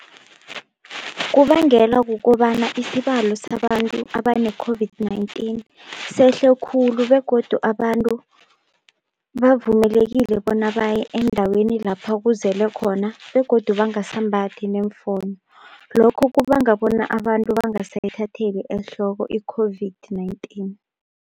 Kubangelwa kukobana isibalo sabantu abane-COVID-19 sehle khulu begodu abantu bavumelekile bona baye endaweni lapha kuzele khona begodu bangasambathi neemfonyo, lokho kubanga bona abantu bangasayithatheli ehloko i-COVID-19.